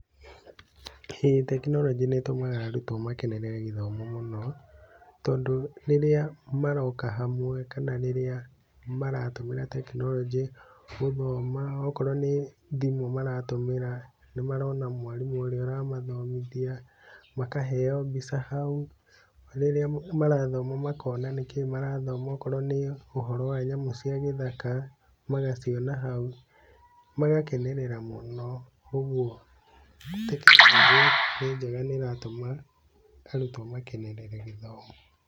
ĩĩ tekinoronjĩ nĩ ĩtũmaga arutwo makenerere gĩthomo mũno, tondũ rĩrĩa maroka hamwe kana rĩrĩa maratũmĩra tekinoronjĩ gũthoma, okorwo nĩ thimũ maratũmĩra, nĩ marona mwarimũ ũrĩa ũramathomithia, makaheo mbica hau, rĩrĩa marathoma makona nĩkĩ marathoma okorwo nĩ ũhoro wa nyamũ cia gĩthaka, magaciona hau, magakenerera mũno, ũguo tekinoronjĩ nĩ njega nĩ ĩratũma arutwo makenerere gĩthomo.